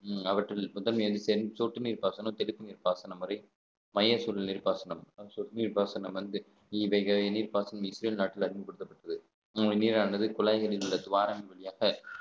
உம் அவற்றில் சொட்டு நீர் பாசனம் தடுப்பு நீர் பாசனம் வரை மைய சூழல் நீர் பாசனம் சொட்டு நீர் பாசனம் வந்து இவ்வகையான நீர்ப்பாசனம் இஸ்ரேல் நாட்டுல அறிமுகப்படுத்தப்பட்டது நீரானது குழாய்களில் உள்ள துவாரங்கள் வழியாக